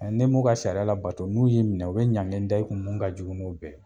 nim'u ka sariya labato , n'u y'i minɛ u be ɲagili da i kun mun ka jugu n'o bɛɛ ye.